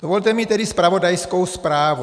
Dovolte mi tedy zpravodajskou zprávu.